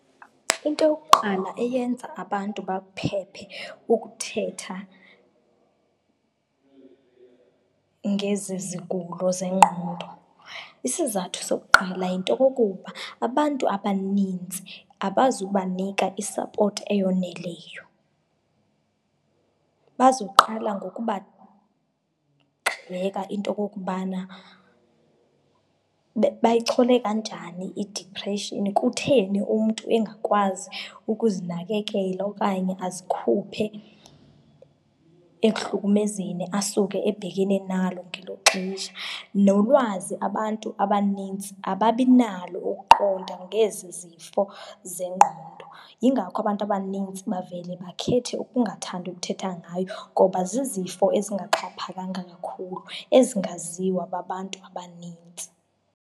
Into yokuqala eyenza abantu bakuphephe ukuthetha ngezi zigulo zengqondo, isizathu sokuqala yinto okokuba abantu abanintsi abazi ukubanika isapothi eyoneleyo, bazokuqala ngokubagxeka into okokubana bayichole kanjani idipreshini, kutheni umntu engakwazi ukuzinakekela okanye azikhuphe ekuhlukumezeni asuke ebhekene nalo ngelo xesha. Nolwazi abantu abanintsi ababinalo ukuqonda ngezi zifo zengqondo. Yingako abantu abanintsi bavele bakhethe ukungathandi ukuthetha ngayo ngoba zizifo ezingaxhaphakanga kakhulu ezingaziwa babantu abanintsi.